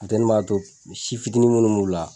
Funteni b'a to si fitinin minnu m'u la